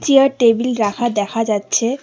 Chair table রাখা দেখা যাচ্ছে।